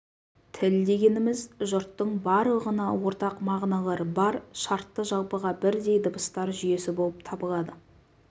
тіл дегеніміз жұрттың барлығына ортақ мағыналары бар шартты жалпыға бірдей дыбыстар жүйесі болып табылады